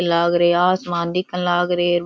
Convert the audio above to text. लाग रो आसमान दिखन लाग रे।